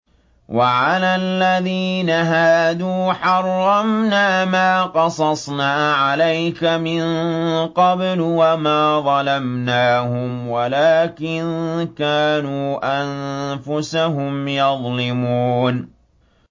وَعَلَى الَّذِينَ هَادُوا حَرَّمْنَا مَا قَصَصْنَا عَلَيْكَ مِن قَبْلُ ۖ وَمَا ظَلَمْنَاهُمْ وَلَٰكِن كَانُوا أَنفُسَهُمْ يَظْلِمُونَ